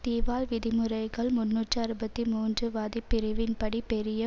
திவால் விதிமுறைகள் முன்னூற்று அறுபத்தி மூன்று வதி பிரிவின்படி பெரிய